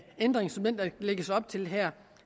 ændring som den der lægges op til her